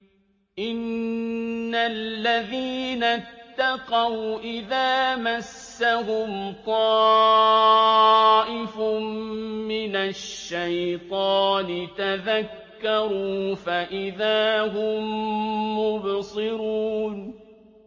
إِنَّ الَّذِينَ اتَّقَوْا إِذَا مَسَّهُمْ طَائِفٌ مِّنَ الشَّيْطَانِ تَذَكَّرُوا فَإِذَا هُم مُّبْصِرُونَ